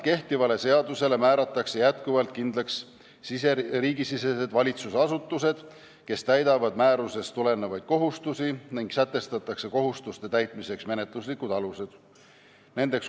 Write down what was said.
Kehtiva seadusega sarnaselt määratakse kindlaks riigisisesed valitsusasutused, kes täidavad määrusest tulenevaid kohustusi, ning sätestatakse kohustuste täitmiseks menetluslikud alused.